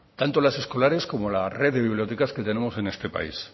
tanto las escolares como la red de bibliotecas que tenemos en este país